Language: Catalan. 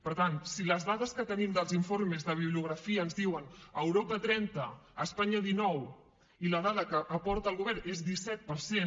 per tant si les dades que tenim dels informes de bibliografia ens diuen a europa trenta a espanya dinou i la dada que aporta el govern és disset per cent